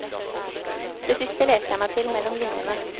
Det siste leste jeg meg til mellom linjene.